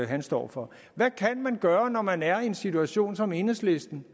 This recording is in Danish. han står for hvad kan man gøre når man er i den situation som enhedslisten